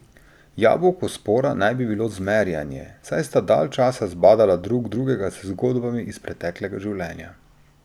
Jabolko spora naj bi bilo zmerjanje, saj sta dalj časa zbadala drug drugega z zgodbami iz preteklega življenja.